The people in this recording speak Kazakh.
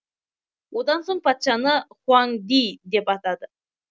одан соң патшаны хуаң ди деп атады